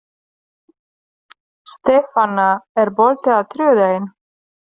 Stefana, er bolti á þriðjudaginn?